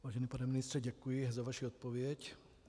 Vážený pane ministře, děkuji za vaši odpověď.